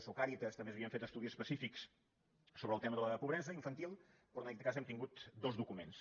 o càritas també s’havien fet estudis específics sobre el tema de la pobresa infantil però en aquest cas hem tingut dos documents